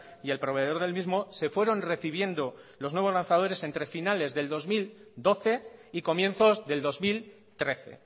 y el proveedor del mismo se fueron recibiendo los nuevos lanzadores entre finales del dos mil doce y comienzos del dos mil trece